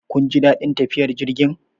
Kun ji daɗin tafiyar jirgin?